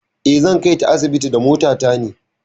Eh, zan kai ta asibiti da mota ta ne.